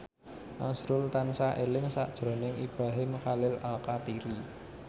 azrul tansah eling sakjroning Ibrahim Khalil Alkatiri